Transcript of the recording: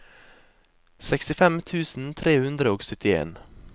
sekstifem tusen tre hundre og syttien